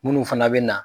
Minnu fana bɛ na